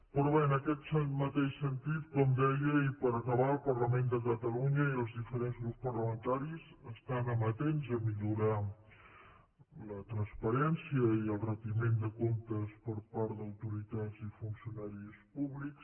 però bé en aquest mateix sentit com deia i per acabar el parlament de catalunya i els diferents grups parlamentaris estan amatents a millorar la transparència i el retiment de comptes per part d’autoritats i funcionaris públics